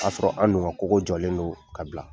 K'a sɔrɔ an dun ka kogo jɔlen don k'a bila.